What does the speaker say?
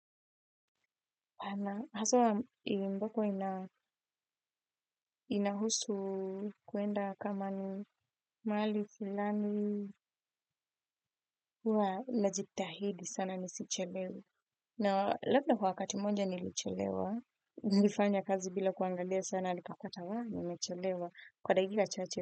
Haswa mbako inahusu kuenda kama ni mali fulani huwa najitahidi sana nisichelewa. Na labda kwa wakati mmoja nilichelewa, nilifanya kazi bila kuangaliya sana nikapata waaa nimechelewa kwa dakika chache.